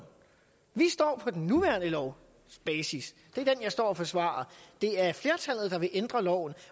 vi står på den nuværende lovs basis det er den jeg står og forsvarer det er flertallet der vil ændre loven